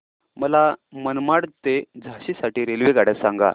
मला मनमाड ते झाशी साठी रेल्वेगाड्या सांगा